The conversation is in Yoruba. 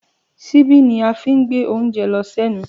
Ṣibi ni a fí ń gbẹ oúnjẹ lọ sẹnu.